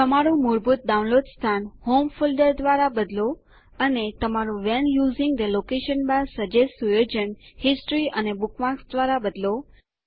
તમારું મૂળભૂત ડાઉનલોડ સ્થાન હોમ ફોલ્ડર દ્વારા બદલો અને તમારું when using the location bar suggest સુયોજન હિસ્ટોરી એન્ડ બુકમાર્ક્સ દ્વારા બદલો